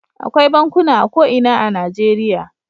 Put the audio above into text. Akwai bankuna a ko ina a Najeriya.